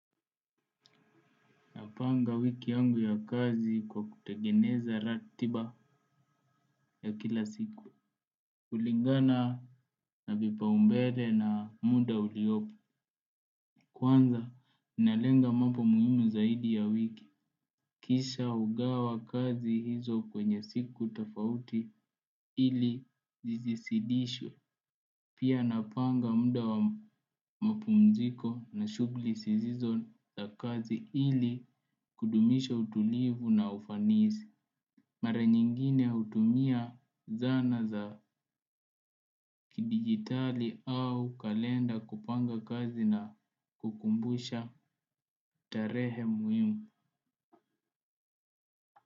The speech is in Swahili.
Napanga wiki yangu ya kazi kwa kutegeneza ratiba ya kila siku. Kulingana na vipaumbele na muda uliopo. Kwanza, nalenga mambo muhimu zaidi ya wiki. Kisha hugawa kazi hizo kwenye siku tofauti ili zisizidishwe. Pia napanga muda wa mapumziko na shughuli zisizo na kazi ili kudumisha utulivu na ufanisi. Mara nyingine hutumia zana za kidigitali au kalenda kupanga kazi na kukumbusha tarehe muhimu.